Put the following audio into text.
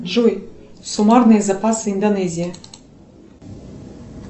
джой суммарные запасы индонезии